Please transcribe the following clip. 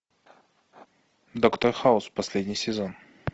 доктор хаус последний сезон